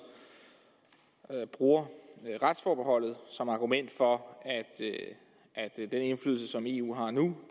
bruger retsforbeholdet som argument for at den indflydelse som eu har nu